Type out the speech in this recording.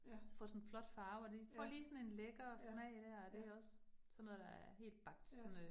Ja, ja, ja ja, ja